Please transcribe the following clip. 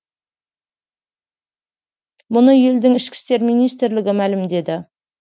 мұны елдің ішкі істер министрлігі мәлімдеді